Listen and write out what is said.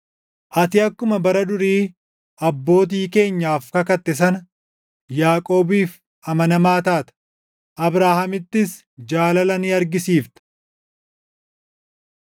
Ati akkuma bara durii abbootii keenyaaf kakatte sana Yaaqoobiif amanamaa taata; Abrahaamittis jaalala ni argisiifta.